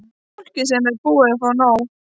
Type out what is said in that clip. Fólk sem er búið að fá nóg.